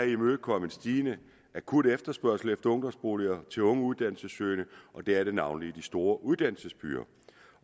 imødekomme en stigende akut efterspørgsel efter ungdomsboliger til unge uddannelsessøgende og det er navnlig i de store uddannelsesbyer